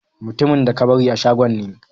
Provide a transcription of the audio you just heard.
Mutumin da ka bari a shagon ne.